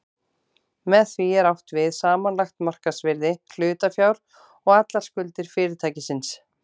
Með því er átt við samanlagt markaðsvirði hlutafjár og allar skuldir fyrirtækisins.